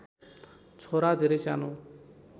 छोरा धेरै सानो